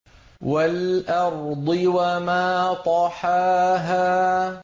وَالْأَرْضِ وَمَا طَحَاهَا